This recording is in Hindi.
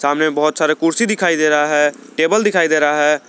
सामने बहोत सारे कुर्सी दिखाई दे रहा है टेबल दिखाई दे रहा है।